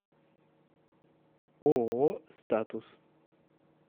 ооо статус